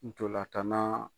Ntolan tan na .